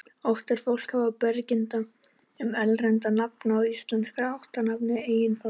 Oft er fólk í vafa um beygingu erlendra nafna og íslenskra ættarnafna í eignarfalli.